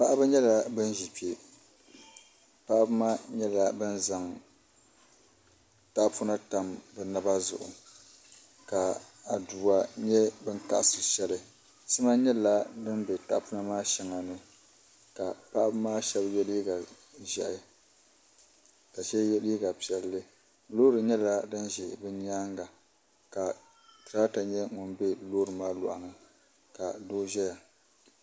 Paɣaba nyɛla bin ʒi kpɛ paɣaba maa nyɛla bin zaŋ tahapona tam bi naba zuɣu ka aduwa nyɛ bin kaɣasiri shɛli sima nyɛla din bɛ tahapona maa shɛŋa ni ka paɣaba maa shab yɛ liiga ʒiɛhi ka shab yɛ liiga piɛlli loori nyɛla din ʒɛ bi nyaanga ka tirata nyɛ din bɛ loori maa luɣa ni ka doo ʒɛya